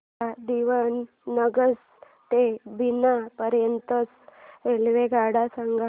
मला दीवाणगंज ते बिना पर्यंत च्या रेल्वेगाड्या सांगा